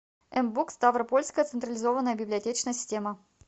мбук ставропольская централизованная библиотечная система